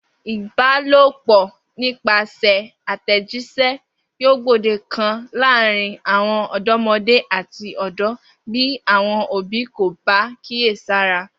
Ìbálòpò̩ nípasè̩ àtè̩jís̩é̩ yóò gbòde kan láàárín àwo̩n ò̩dó̩mo̩dé àti ò̩dó̩ bí àwo̩n òbí kò bá kíyèsára